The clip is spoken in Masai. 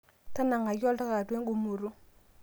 tangaki oltaka atua engumoto